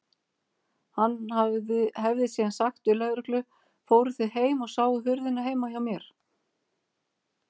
Hann hefði síðan sagt við lögreglu: Fóruð þið heim og sáuð hurðina heima hjá mér?